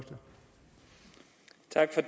tage sig